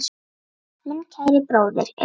Minn kæri bróðir er látinn.